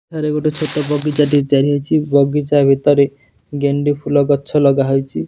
ଏଠାରେ ଗୋଟେ ଛୋଟ ବଗିଚା ଟେ ତିଆରି ହେଇଚି ବଗିଚା ଭିତରେ ଗେଣ୍ଡୁଫୁଲ ଗଛ ଲଗା ହେଇଚି।